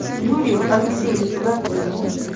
юрию алексеевичу гордееву